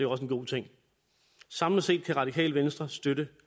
også en god ting samlet set kan radikale venstre støtte